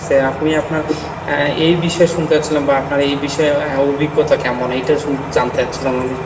আপনি আপনার আহ এ বিষয়ে শুনতে চাচ্ছিলাম বা আপনার এই বিষয়ে অভিজ্ঞতা কেমন এটা শুন জানতে চাচ্ছিলাম আমি ?